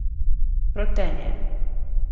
Rotenje.